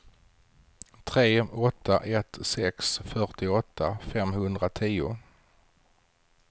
tre åtta ett sex fyrtioåtta femhundratio